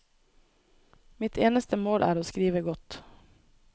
Mitt eneste mål er å skrive godt.